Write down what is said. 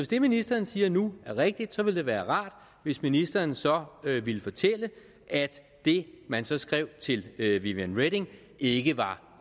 det ministeren siger nu er rigtigt ville det være rart hvis ministeren så ville fortælle at det man så skrev til viviane reding ikke var